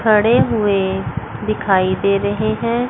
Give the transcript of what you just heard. खड़े हुए दिखाई दे रहे हैं।